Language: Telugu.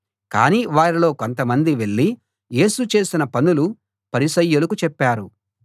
కాని వారిలో కొంతమంది వెళ్ళి యేసు చేసిన పనులు పరిసయ్యులకు చెప్పారు